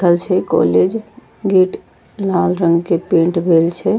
खल छै college gate लाल रंग के पेंट भेल छै।